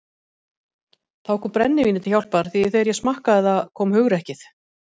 Þá kom brennivínið til hjálpar því þegar ég smakkaði það kom hugrekkið.